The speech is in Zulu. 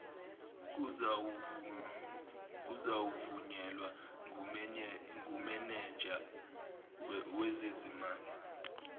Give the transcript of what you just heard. kuzawuvunyelwa ngumenenja wezezimali